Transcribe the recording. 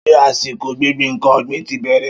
Ṣé àsìkò gbíngbin nkan ọ̀gbìn ti bẹ̀rẹ̀?